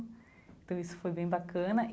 Então isso foi bem bacana.